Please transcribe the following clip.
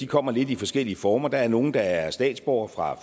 kommer lidt i forskellige former der er nogle der er statsborgere fra